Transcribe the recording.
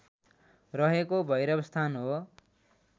रहेको भैरवस्थान हो